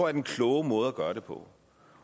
er den kloge måde at gøre det på